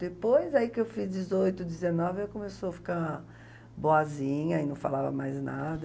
Depois aí que eu fiz dezoito, dezenove, ela começou a ficar boazinha e não falava mais nada.